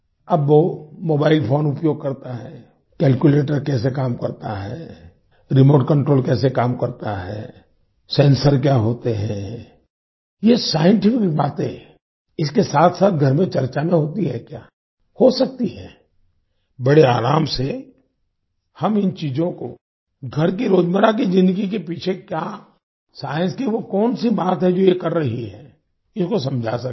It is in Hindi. अब वो मोबाइल फोन उपयोग करता है कैल्कुलेटर कैसे काम करता है रिमोट कंट्रोल कैसे काम करता है सेंसर क्या होते हैं ये साइंटिफिक बातें इसके साथसाथ घर में चर्चा में होती है क्या हो सकती है बड़े आराम से हम इन चीज़ों को घर की रोजमर्रा की ज़िन्दगी के पीछे क्या साइंस की वो कौन सी बात है जो ये कर रही है इसको समझा सकते हैं